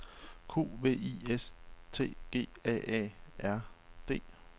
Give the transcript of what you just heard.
Q V I S T G A A R D